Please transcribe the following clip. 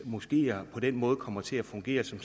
moskeer på den måde kommer til at fungere som